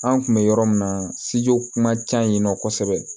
An kun bɛ yɔrɔ min na kuma ca yen nɔ kosɛbɛ